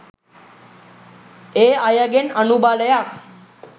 ඒ අයගෙන් අනුබලයක්